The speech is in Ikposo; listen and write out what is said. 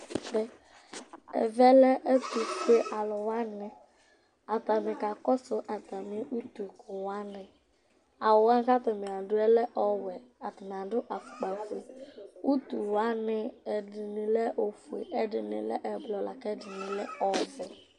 Ɛvɛ lɛ ɛtʋfuealʋ wanɩ Atanɩ kakɔsʋ atamɩ utukʋ wanɩ Awʋ wanɩ kʋ atanɩ adʋ yɛ lɛ ɔwɛ Atanɩ adʋ afʋkpafue Utu wanɩ, ɛdɩnɩ lɛ ofue, ɛdɩnɩ lɛ ɛblɔ la kʋ ɛdɩnɩ ɔvɛ